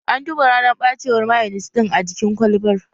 An duba ranar ɓacewar mayonis ɗin a jikin kwalbar